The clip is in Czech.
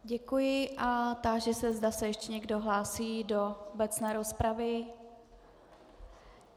Děkuji a táži se, zda se ještě někdo hlásí do obecné rozpravy.